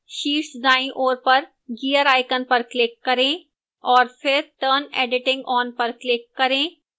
शीर्ष दाईं ओर पर gear icon पर click करें और फिर turn editing on पर click करें